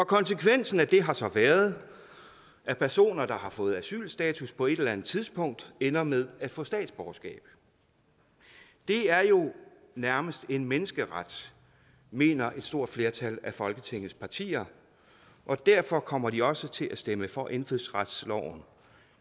konsekvensen af det har så været at personer der har fået asylstatus på et eller andet tidspunkt ender med at få statsborgerskab det er jo nærmest en menneskeret mener et stort flertal af folketingets partier og derfor kommer de også til at stemme for indfødsretsloven